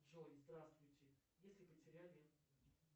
джой здравствуйте если потеряли